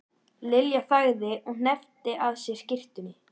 Lilja þagði og hneppti að sér skyrtunni.